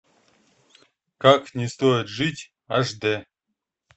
как не стоит жить аш дэ